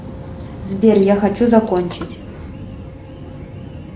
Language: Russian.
сбер я хочу закончить